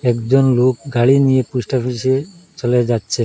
একজন লোক গাড়ি নিয়ে পোস্টাফিসে চলে যাচ্ছে।